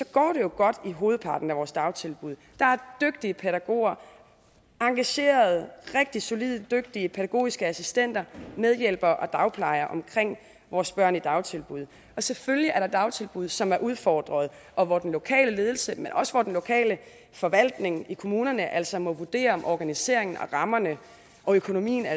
går det godt i hovedparten af vores dagtilbud der er dygtige pædagoger engagerede rigtig solide dygtige pædagogiske assistenter medhjælpere og dagplejere omkring vores børn i dagtilbud selvfølgelig er der dagtilbud som er udfordret og hvor den lokale ledelse men også hvor den lokale forvaltning i kommunerne altså må vurdere om organiseringen af rammerne og økonomien er